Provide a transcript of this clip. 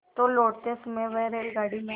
तो लौटते समय वह रेलगाडी में